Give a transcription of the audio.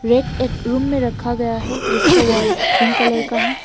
एक रूम में रखा गया हैं जिसका वॉल पिंक कलर का है।